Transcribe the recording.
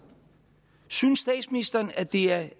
synes statsministeren at det er